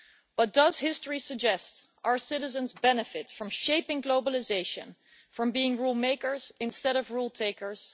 But does history suggest that our citizens benefit from shaping globalisation, from being rule makers instead of rule takers?